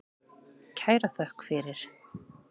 Kæra þökk fyrir.